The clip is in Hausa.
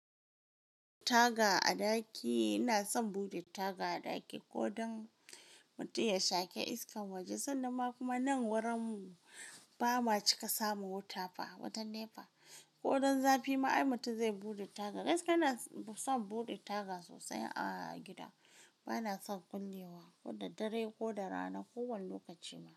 Taga a daki ina son buɗe taga a ɗaki kodan mutum ya shake iskan waje, sanan ma kuma nan wurin mu ba ma cika samun wuta fa, wutan nepa. Kodan zafi ma ai mutum zai buɗe taga. Gaskiya ina son buɗe taga sosai a gida. Ba na son kullewa, ko da dare ko da rana, ko wane lokaci ma.